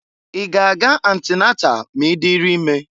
I g' a ga-antinatal ma i diri ime?